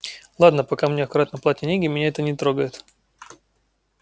ладно пока мне аккуратно платят деньги меня это не трогает